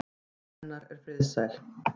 Hver hreyfing hennar er friðsæl.